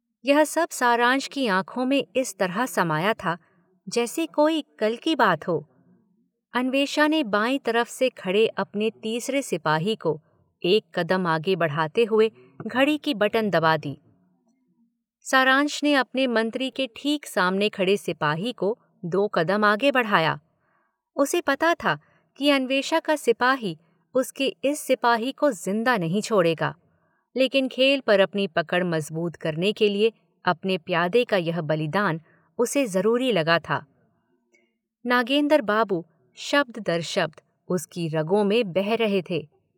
यह सब सारंश की आँखों में इस तरह समाया था जैसे कोई कल की बात हो, अन्वेषा ने बाईं तरफ से खड़े अपने तीसरे सिपाही को एक कदम आगे बढ़ाते हुए घड़ी की बटन दबा दी। सारांश ने अपने मंत्री के ठीक सामने खड़े सिपाही को दो कदम आगे बढ़ाया, उसे पता था कि अन्वेषा का सिपाही उसके इस सिपाही को जिंदा नहीं छोड़ेगा लेकिन खेल पर अपनी पकड़ मज़बूत करने के लिए अपने प्यादे का यह बलिदान उसे ज़रूरी लगा था, नागेंदर बाबू शब्द दर शब्द उसकी रगों में बह रहे थे।